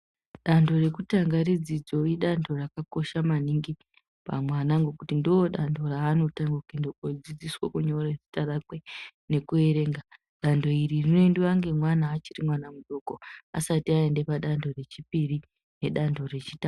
Dando rekutanga redzidzo idando raka kosha maningi pa mwana ngokuti ndo dando raanotanga kuende kudzidziswa kunyore zita rakwe neku verenga dando iri rino endiwa ne mwana achiri mudoko asati aende padando rechipiri ne dando re chitatu.